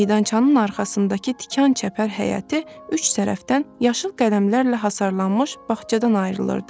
Meydançanın arxasındakı tikanlı çəpər həyəti üç tərəfdən yaşıl qələmlərlə hasarlanmış bağçadan ayırırdı.